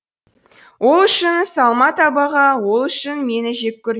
ол үшін салма табаға ол үшін мені жек көр